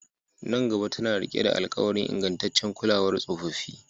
Nan gaba tana riƙe da alƙawarin ingantaccen kulawar tsofaffi